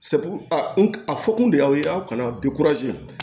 a fɔ kun de y'aw ye aw kana